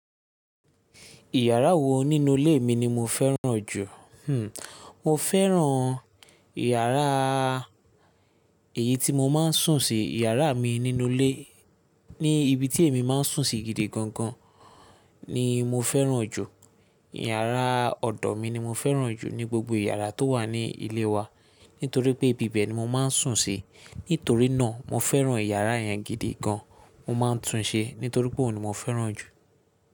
Ìyàrá wò nínú ilé mi ni mo fẹ́ràn jù? Hmmm mo fẹ́ràn yàrá èyí tí mo máa ń sùn sí, yàrá mi nínú ilé. Ní ibi tí èmi máa ń sùn sí gidi gan gan ni mo fẹ́ràn jù. Yàrá ọ̀dọ̀ mi ni mo fẹ́ràn jù ní gbogbo yàrá tó wà ní ilé wa. Nítorí pé ibi bẹ ni mo máa ń sùn sí. Nítorí náà mo fẹ́ràn ìyàrá yẹn gidi gan. Mo máa ń tun un ṣe. Nítorí pé òun ni mo fẹ́ràn jù.